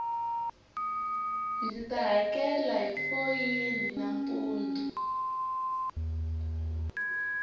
ndzita hakela hi foyini nampundu